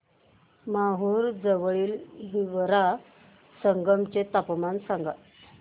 माहूर जवळील हिवरा संगम चे तापमान सांगा